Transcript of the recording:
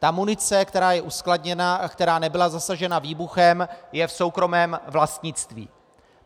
Ta munice, která je uskladněna, a která nebyla zasažena výbuchem, je v soukromém vlastnictví.